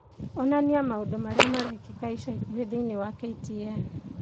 onania maũndũ marĩa marekĩka ica ikuhĩ thĩinĩ wa k.t.n